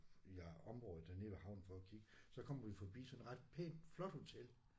I øh området dernede ved havnen for at kigge. Så kommer vi forbi sådan et ret pænt flot hotel